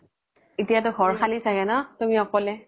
এতিয়া তো ঘৰ খালি চাগে ন তুমি অকলে